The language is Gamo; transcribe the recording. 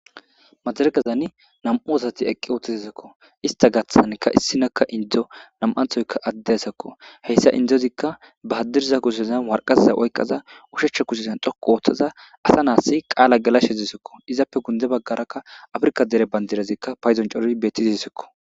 madaregazani nam7u osati eqqi ooththizisakko ista gaaththanka issinakka indzo nam7anthoyka addesakko heyssa indzozikka ba haddirza kusezan warqazza oyqaza ushecha kusezan xoqu ooththaza asa naassi qaala gelashezisikko izappe gunde baggarakka afrika dere bandirezikka payzon cori bettizisikko